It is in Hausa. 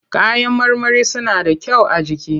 Kayan marmari suna da kyau a jiki.